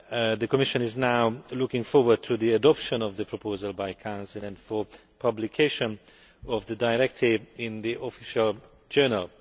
The Commission is now looking forward to the adoption of the proposal by the Council and publication of the directive in the Official Journal.